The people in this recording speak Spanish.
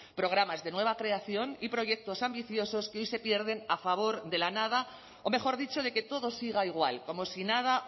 programas de nueva creación y proyectos ambiciosos que hoy se pierden a favor de la nada o mejor dicho de que todo siga igual como si nada